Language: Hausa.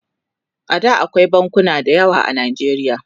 A da akwai bankuna da yawa a najeriya